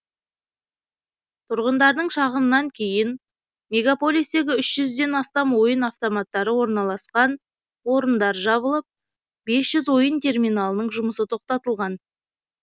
тұрғындардың шағымынан кейін мегаполистегі үш жүзден астам ойын автоматтары орналасқан орындар жабылып бес жүз ойын терминалының жұмысы тоқтатылған